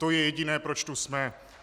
To je jediné, proč tu jsme.